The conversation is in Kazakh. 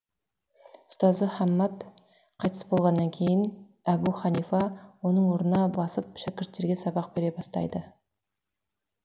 ұстазы хаммад қайтыс болғаннан кейін әбу ханифа оның орнына басып шәкірттерге сабақ бере бастайды